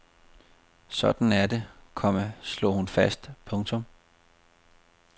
Sådan er det, komma slog hun fast. punktum